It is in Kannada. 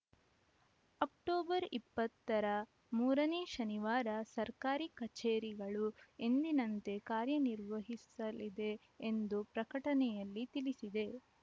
ಅಕ್ಟೋಬರ್ ಇಪ್ಪತ್ತ ರ ಮೂರನೇ ಶನಿವಾರ ಸರ್ಕಾರಿ ಕಚೇರಿಗಳು ಎಂದಿನಂತೆ ಕಾರ್ಯನಿರ್ವಹಿಸಲಿದೆ ಎಂದು ಪ್ರಕಟಣೆಯಲ್ಲಿ ತಿಳಿಸಿದೆ